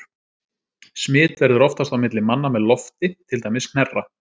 Smit verður oftast á milli manna með lofti, til dæmis hnerra.